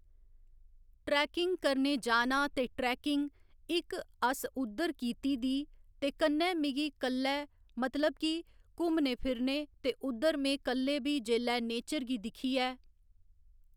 trekking करने जाना ते ट्रैकिंग, इक अस उद्धर कीती दी ते कन्नै मिगी कल्लै मतलब कि घुम्मने फिरने ते उद्धर में कल्ले बी जेल्लै नेचर गी दिक्खयै